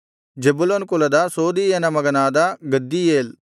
Zebulun ಕುಲದ ಸೋದೀಯನ ಮಗನಾದ ಗದ್ದೀಯೇಲ್